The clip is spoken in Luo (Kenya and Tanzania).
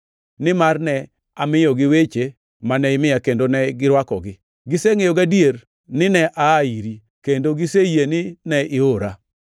Nimar ne amiyogi weche mane imiya kendo ne girwakogi. Gisengʼeyo gadier ni ne aa iri, kendo giseyie ni ne iora.